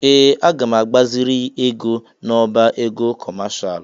Ee! Aga m agbaziri ego n'ọbá ego kọmashal.